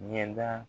Ɲɛda